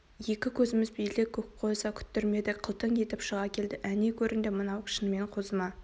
екі көзіміз белде көк қозы күттірмеді қылтың етіп шыға келді әне көрінді мынау шынымен қозы ма